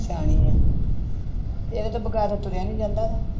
ਸਿਆਣੀ ਹੈ, ਇਹਦੇ ਤੋਂ ਬਗ਼ੈਰ ਤੁਰਿਆ ਨੀ ਜਾਂਦਾ।